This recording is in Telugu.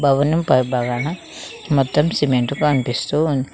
భవనం పై భాగాన మొత్తం సిమెంట్ కనిపిస్తూ ఉంది.